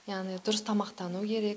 яғни дұрыс тамақтану керек